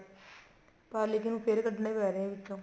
ਕੱਲ ਨੂੰ ਫ਼ੇਰ ਕੱਢਣੇ ਪੇ ਰਹੇ ਵਿਚੋਂ